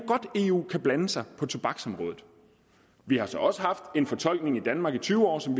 eu kan blande sig på tobaksområdet vi har så også haft en fortolkning i danmark i tyve år som